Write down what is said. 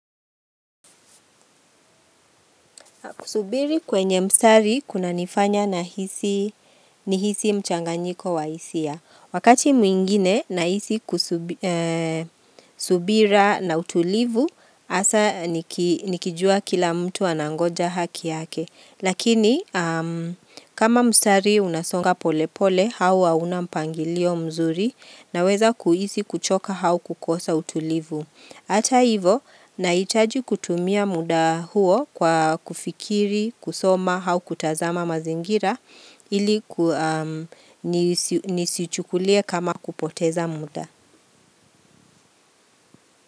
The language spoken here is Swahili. Kusubiri kwenye mstari kunanifanya nahisi nihisi mchanganyiko wa hisia. Wakati mwingine nahisi kusub subira na utulivu hasa niki nikijua kila mtu anangoja haki yake. Lakini, kama mstari unasonga pole pole, hau hauna mpangilio mzuri naweza kuhisi kuchoka hau kukosa utulivu. Hata hivyo, nahitaji kutumia muda huo kwa kufikiri, kusoma, hau kutazama mazingira ili nisichukulie kama kupoteza muda.